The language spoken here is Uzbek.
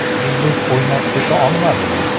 Yulduz o‘ynab keta olmadimi?